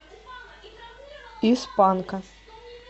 из панка